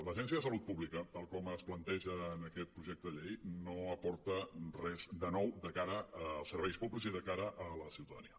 l’agència de salut pública tal com es planteja en aquest projecte de llei no aporta res de nou de cara als serveis públics i de cara a la ciutadania